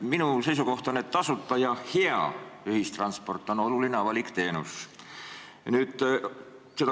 Minu seisukoht on, et tasuta ja hea ühistransport on oluline avalik teenus.